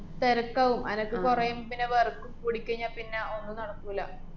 തെരക്കാവും. അനക്ക് കൊറേം പിന്നെ work കൂടിക്കയിഞ്ഞാപ്പിന്ന ഒന്നും നടക്കൂല്ല.